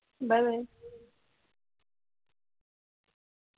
bye bye